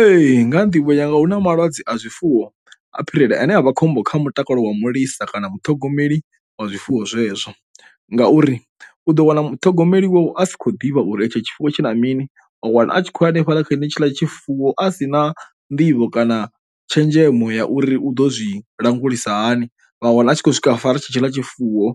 Ee nga ha nḓivho yanga hu na malwadze a zwifuwo a phirela ane a vha khombo kha mutakalo wa mulisa kana muṱhogomeli wa zwifuwo zwezwo ngauri u ḓo wana muṱhogomeli a si khou ḓivha uri etsho tshifuwo tshi na mini a wana a tshi khou hanefhaḽa kha he netshila tshifuwo a si na nḓivho kana tshenzhemo ya uri u ḓo zwi langulisa hani, vha wana a tshi khou swika fara tshi tshi ḽa tshifuwo